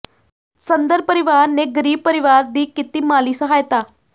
ਸੰਧਰ ਪਰਿਵਾਰ ਨੇ ਗ਼ਰੀਬ ਪਰਿਵਾਰ ਦੀ ਕੀਤੀ ਮਾਲੀ ਸਹਾਇਤਾ